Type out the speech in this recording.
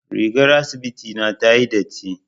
Rigar asibiti na tayi datti.